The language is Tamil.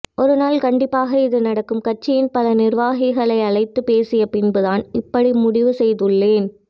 ஒருநாள் கண்டிப்பாக இது நடக்கும் கட்சியின் பல நிர்வாகிகளை அழைத்து பேசிய பின்தான் இப்படி முடிவு செய்துள்ளேன்